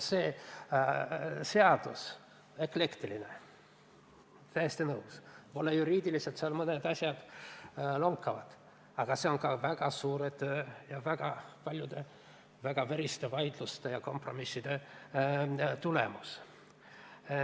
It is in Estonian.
See seadus on eklektiline, olen täiesti nõus, ja juriidiliselt mõned asjad lonkavad, aga seegi on väga suure töö ja väga paljude veriste vaidluste ja kompromisside tulemus.